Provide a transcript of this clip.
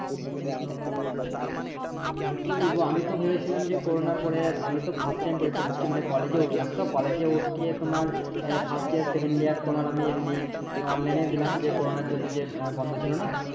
মানে কি বলবো আমি তো ভেবেছিলাম যে করোনার পরে আমিতো First time পরীক্ষা দিচ্ছি মানে কলেজে উঠলাম তো কলেজে উঠে তোমার First year second year তোমার আমি এমনি Online এ দিলাম যে করোনার জন্য যে বন্ধ ছিলো নাহ